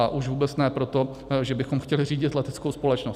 A už vůbec ne proto, že bychom chtěli řídit leteckou společnost.